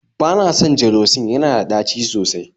Bana son gelocin, yana da tɗaci sosai